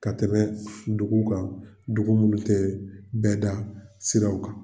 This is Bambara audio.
Ka tɛmɛ dugu kan dugu minnu tɛ bɛɛda siraw kan